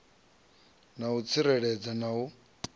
na u tsireledzea na u